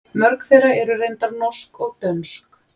Mörg þeirra eru reyndar norsk og dönsk.